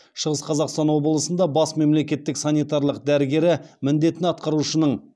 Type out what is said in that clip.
шығыс қазақстан облысында бас мемлекеттік санитарлық дәрігері міндетін атқарушының